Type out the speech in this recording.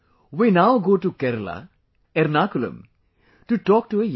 We now go to Kerala, Ernakulam to talk to a young